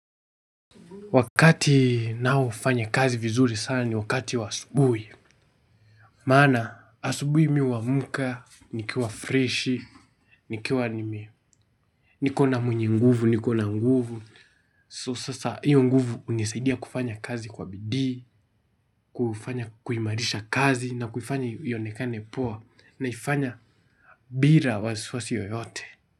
Wakati nao fanya kazi vizuri sana ni wakati wa asubui. Mana asubui miwamuka, nikiwa fresh, nikiwa nikona mwenye nguvu, nikona nguvu So sasa hiyo nguvu unisaidia kufanya kazi kwa bidhi, kufanya kuimarisha kazi na kufanya iyonekane poa naifanya bira waziswasi yoyote.